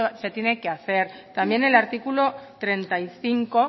se tiene que hacer también el artículo treinta y cinco